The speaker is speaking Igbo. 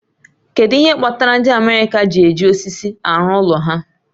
Kedu ihe kpatara ndị America ji eji osisi arụ ụlọ ha